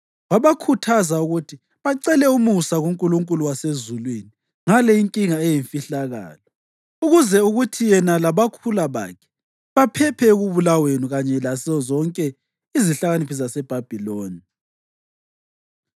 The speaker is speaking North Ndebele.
Wabakhuthaza ukuthi bacele umusa kuNkulunkulu wasezulwini ngale inkinga eyimfihlakalo, ukuze kuthi yena labakhula bakhe baphephe ekubulaweni kanye lazozonke izihlakaniphi zaseBhabhiloni.